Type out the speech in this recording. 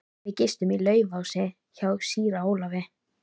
Við gistum í Laufási hjá síra Ólafi.